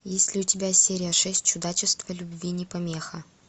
есть ли у тебя серия шесть чудачество любви не помеха